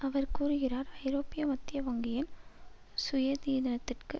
அவர் கூறுகிறார் ஐரோப்பிய மத்திய வங்கியின் சுயாதீனத்திற்கு